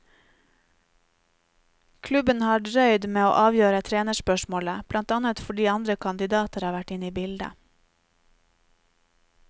Klubben har drøyd med å avgjøre trenerspørsmålet, blant annet fordi andre kandidater har vært inne i bildet.